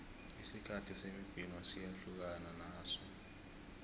isikhathi semibhino siyahlukana naso